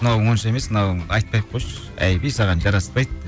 мынауың онша емес мынауың айтпай ақ қойшы әйби саған жараспайды